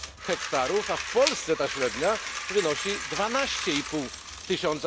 hektarów, a w Polsce ta średnia wynosi 12,5 tys.